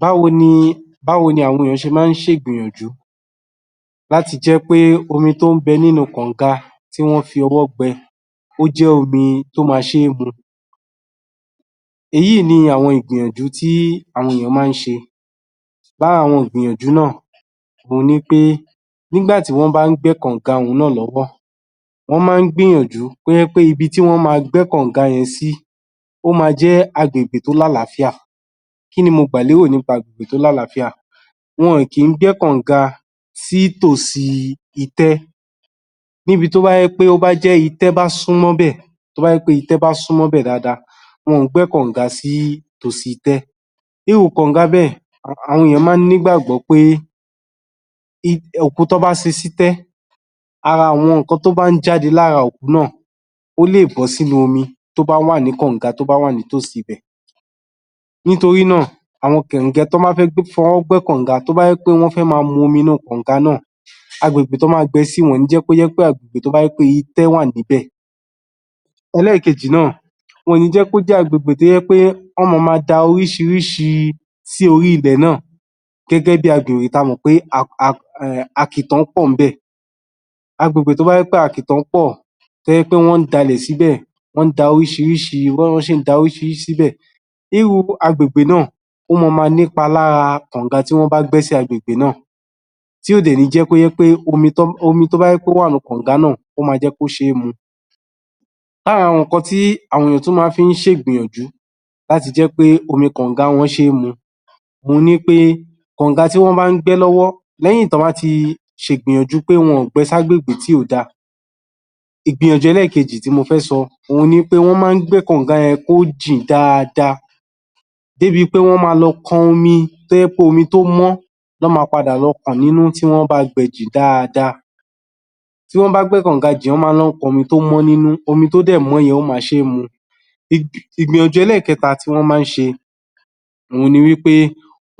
Báwo ni...báwo ni àwọn ènìyàn ṣe máa ń ṣe ìgbìyànjú láti jẹ́ pé omi tó ń bẹ nínú kànga tí wọ́n fi ọwọ́ gbẹ́ ó jẹ́ omi tó máa ṣe mu èyì ni àwọn ìgbìyànjú tí àwọn ènìyàn máa ń ṣe lára àwọn ìgbìyànjú náà òun ni pé nígbà tí wọ́n bá ń gbẹ́ kànga yìí náà lọ́wọ́ wọ́n máa ń gbìyànjú kó jẹ́ pé ibi tí wọ́n máa gbẹ́ kànga yẹn sí sí ó máa jẹ́ agbègbè tó lálàáfíà kí ni mo gbà lérò nípa agbègbè tó lálàáfíà wọn kì í gbẹ́ kànga sí tòsí itẹ́ níbi tó bá jẹ́ pé ó bá jẹ́ itẹ́ bá súnmọ́ bẹ́ẹ̀ tó bá jẹ́ pé itẹ́ bá súnmọ́ bẹ́ẹ̀ dáadáa wọn kì í gbẹ́ kànga sí tòsí itẹ́ irú kànga bẹ́ẹ̀ àwọn ènìyàn máa ń ní ìgbàgbọ́ pé òkú tí wọ́n bá sin sí itẹ́ ara àwọn nǹkan tó bá ń jáde lára òkú náà ó lè bọ́ sínú omi tó bá wà ní kànga tó bá wà ní tòsí ibẹ̀ nítorí náà, tí wọ́n bá fẹ́ fọwọ́ gbẹ́ kànga wí pé wọ́n fẹ́ máa mu omi inú kànga náà agbègbè tí wọ́n máa gbẹ sí wọn ò ní jẹ́ kó jẹ́ agbègbè tó jẹ́ pé itẹ́ wà níbẹ̀ ẹlẹ́ẹ̀kejì náà, wọn ò ní jẹ́ kó jẹ́ agbègbè tó jẹ́ pé wọ́n máa ma da oríṣiríṣi sí orí ilẹ̀ náà gẹ́gẹ́ bí agbègbè tí a mọ̀ pé àkìtàn pọ̀ níbẹ̀ agbègbè tó bá jẹ́ pé àkìtàn pọ̀ tó jẹ́ pé wọ́n ń da ilẹ̀ síbẹ̀, wọ́n ń da oríṣiríṣi...wọ́n ń da oríṣiríṣi síbẹ̀ irú agbègbè náà ó máa ma ní ipa lára kànga tí wọ́n bá gbẹ́ sí agbègbè náà tí kò dẹ̀ ní jẹ́ pé ó jẹ́ pé omi tí ó bá wà nínú kànga náà ó máa jjẹ́ kó ṣe é mu lára àwọn nǹkan tí àwọn èèyàn máa fi ń ṣe ìgbìyànjú láti jẹ́ pé omi kànga wọn ṣe é mu òun ni pé kànga tí wọ́n bá ń gbẹ́ lọ́wọ́ lẹ́yìn tí wọ́n bbá ti ṣe ìgbìyàjú pé wọn ò gbẹ sí agbègbè ibi tí kò dáa ìgbìyànjú ẹlẹ́ẹ̀kejì tí mo fẹ́ sọ òun ni pé wọ́n máa ń gbẹ́ kànga yẹn kó jìn dáadáa dé bi pé wọ́n máa lọ kan omi tó jẹ́ pé omi tó mọ́ ni wọ́n máa padà lọ kàn nínú tí wọ́n bá gbẹ jìn dáadáa tí wọ́n bá gbẹ́ kànga jìn wọ́n máa ń lọ kan omi tó mọ́ nínú, omi tó dẹ̀ mọ́ yẹn ó máa ṣe mu Ìgbìyànjú ẹlẹ́ẹ̀kẹta tí wọ́n máa lọ ń ṣe òun ni wí pé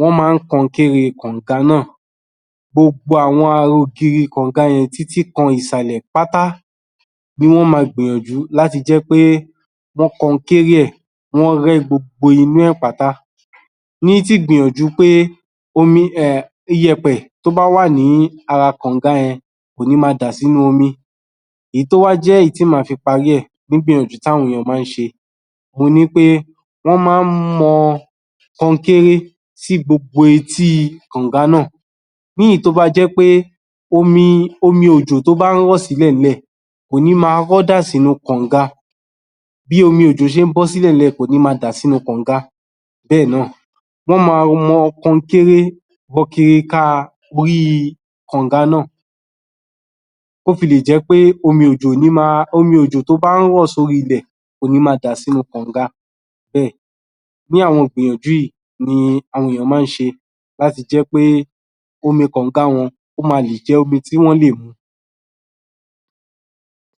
wọ́n máa ń kọnkéré kànga náà gbogbo àwọn ara ògiri kànga yẹn títí kan ìsàlẹ̀ pátá ni wọ́n máa gbìyànjú láti jẹ́ pé wọ́n kọnkéré ẹ̀, wọ́n rẹ́ gbogbo inú ẹ̀ pátá ní ti ìgbìyànjú pé iyẹ̀pẹ̀ tó bá wà ní ara kànga yẹn kò ní máa dà sínú omi èyí tó wá jẹ́ èyí tí màá fi parí ẹ̀ gbígbíyànjú tí àwọn èèyàn máa ń ṣe òun ni wí pé wọ́n máa ń mọ kọnkéré sí gbogbo etí kànga náà ní èyí tó bá jẹ́ pé omi òjò tó bá ń rọ̀ sí ilẹ̀ kò ní máa rọ́ dà sínú kànga bí omi ojò ṣe ń bọ́ sí ilẹ̀ kò ní máa dà sínú kànga bẹ́ẹ̀ náá̀ wọ́n máa mọ kọnkéré yíká kànga náà tó fi lè jẹ́ pé omi òjò ò ní máa... omi ojò tó bá ń rọ̀ sí orí ilẹ̀ kò ní máa rọ̀ sínu kànga bẹ́ẹ̀, irú àwọn ìgbìyànjú yìí ni àwọn ènìyàn máa ń ṣe láti jẹ́ pé omi kànga wọn ó máa lè jé omi tí wọ́n á lè mu